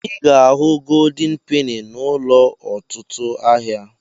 I ga-ahu goldin peni n'ụlọ ọtụtụ ahịa.